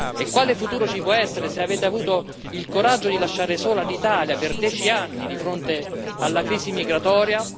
E quale futuro ci può essere se avete avuto il coraggio di lasciare sola l'Italia per dieci anni, di fronte alla crisi migratoria?